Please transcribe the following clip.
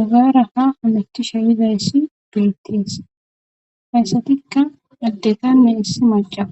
ogaara ka ameti sha yidayssi duyitidis hayssatikka daddetame issi maca